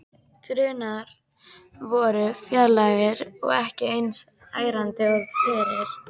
Drunurnar voru fjarlægari og ekki eins ærandi og fyrr.